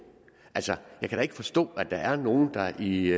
altså jeg kan da ikke forstå at der er nogen der i